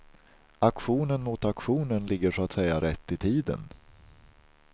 Aktionen mot auktionen ligger så att säga rätt i tiden.